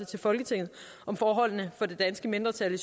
til folketinget om forholdene for det danske mindretal i